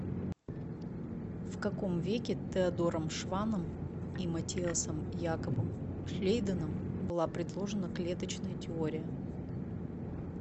в каком веке теодором шванном и маттиасом якобом шлейденом была предложена клеточная теория